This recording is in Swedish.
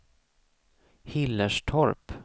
Hillerstorp